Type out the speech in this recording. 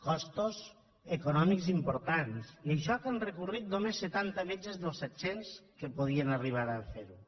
costos econòmics importants i això que han recorregut només setanta metges dels set cents que podien arribar a fer ho